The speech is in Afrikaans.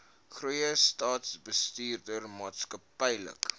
goeie staatsbestuur maatskaplike